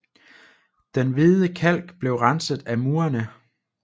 Den hvide kalk blev renset af murene